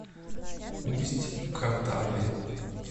усть катаве